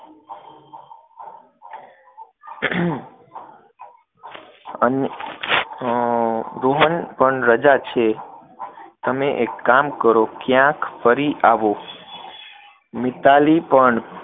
રોહન પણ રજા છે, તમે એક કામ કરો, ક્યાંક ફરી આવો, મિતાલી પણ